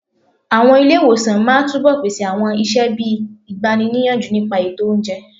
Àwọn ilé ìwòsàn máa túbọ̀ pèsè àwọn iṣẹ́ bíi ìgbani níyànjú nípa ètò oúnjẹ.